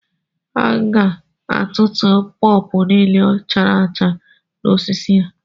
A ga tutuo pọpọ niile chara acha n'osisi ya